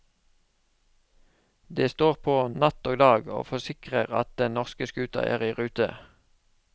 De står på natt og dag, og forsikrer at den norske skuta er i rute.